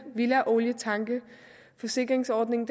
villaolietanke forsikringsordningen